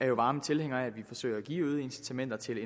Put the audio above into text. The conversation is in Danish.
jo varme tilhængere af at vi forsøger at give øgede incitamenter til